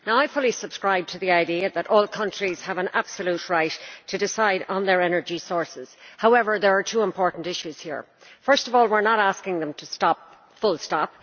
I fully subscribe to the idea that all countries have an absolute right to decide on their energy sources. However, there are two important issues here. First of all, we are not asking them to stop, full stop.